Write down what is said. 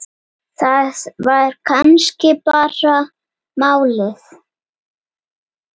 Það var kannski bara málið.